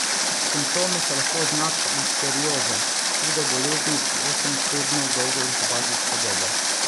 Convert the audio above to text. Simptomi so lahko znak listerioze, hude bolezni z osem tednov dolgo inkubacijsko dobo.